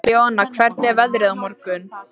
Leona, hvernig er veðrið á morgun?